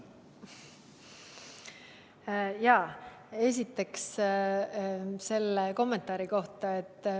Esiteks selle kommentaari kohta.